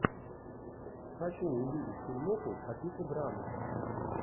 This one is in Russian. хочу увидеть фильмоху по типу драмы